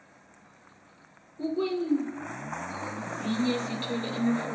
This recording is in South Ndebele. ukwezinye sithola imifula